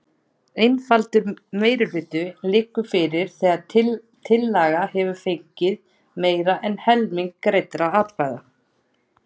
Einfaldur meirihluti liggur fyrir þegar tillaga hefur fengið meira en helming greiddra atkvæða.